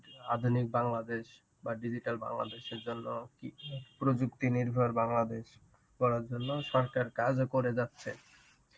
আধুনিক বাংলাদেশ বা digital বাংলাদেশের জন্য কি প্রযুক্তি নির্ভর বাংলাদেশ গড়ার জন্য সরকার কাজও করে যাচ্ছে.